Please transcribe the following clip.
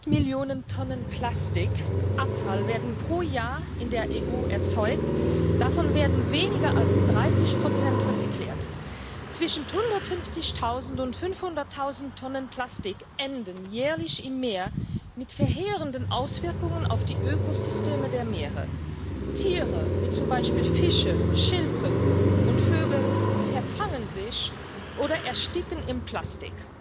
Müll in Häfen abzugeben. Und da gucke ich insbesondere zu den Kolleginnen und Kollegen aus dem Ausschuss für Verkehr und Tourismus, die nach uns darüber abstimmen und sich vielleicht an unserem Bericht orientieren können. Daneben